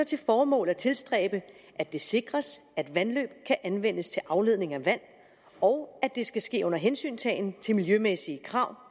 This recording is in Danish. til formål at tilstræbe at det sikres at vandløb kan anvendes til afledning af vand og at det skal ske under hensyntagen til de miljømæssige krav